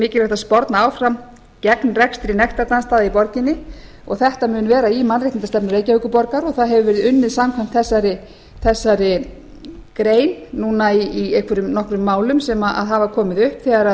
að sporna áfram gegn rekstri nektardansstaða í borginni og þetta mun vera í mannréttindastefnu reykjavíkurborgar og það hefur verið unnið samkvæmt þessari grein núna í einhverjum nokkrum málum sem hafa komið upp þegar